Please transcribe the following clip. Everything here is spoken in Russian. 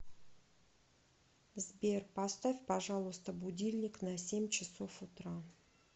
сбер поставь пожалуйста будильник на семь часов утра